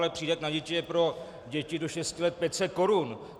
Ale přídavek na děti je pro děti do 6 let 500 korun.